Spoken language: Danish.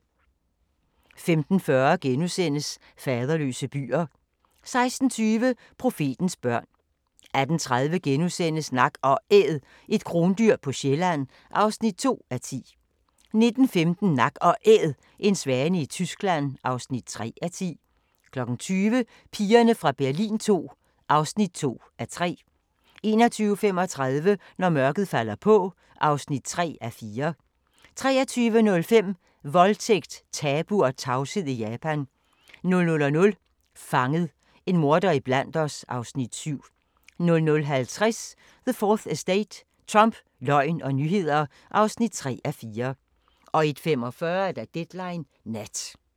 15:40: Faderløse byer * 16:20: Profetens børn 18:30: Nak & Æd – et krondyr på Sjælland (2:10)* 19:15: Nak & Æd – en svane i Tyskland (3:10) 20:00: Pigerne fra Berlin II (2:3) 21:35: Når mørket falder på (3:4) 23:05: Voldtægt, tabu og tavshed i Japan 00:00: Fanget – en morder iblandt os (Afs. 7) 00:50: The 4th Estate – Trump, løgn og nyheder (3:4) 01:45: Deadline Nat